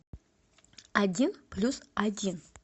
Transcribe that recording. один плюс один